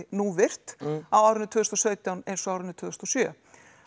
núvirkt á árinu tvö þúsund og sautján eins og árinu tvö þúsund og sjö